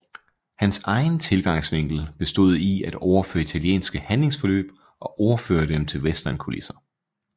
Hans egen tilgangsvinkel bestod i at overføre italienske handlingsforløb og overføre dem til westernkulisser